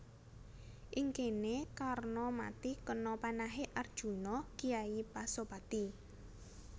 Ing kéné Karna mati kena panahé Arjuna kyai Pasopati